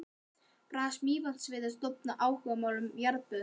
Baðfélag Mývatnssveitar stofnað af áhugamönnum um jarðböð.